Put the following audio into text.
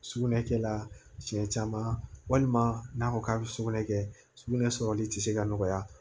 Sugunɛ kɛla siɲɛ caman walima n'a ko k'a bɛ sugunɛ kɛ sugunɛ sɔrɔli tɛ se ka nɔgɔya